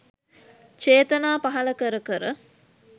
චේතනා පහළ කර කර.